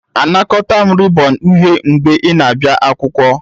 Anakọta m rịbọn uhie mgbe ị na-abịa akwụkwọ.